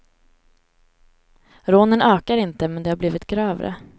Rånen ökar inte, men de har blivit grövre.